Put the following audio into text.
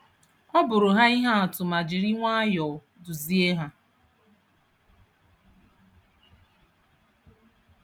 Ọ bụụrụ ha ihe atụ ma jiri nwayọọ duzie ha.